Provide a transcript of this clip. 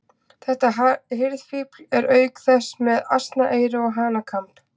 Þetta hirðfífl er auk þess með asnaeyru og hanakamb.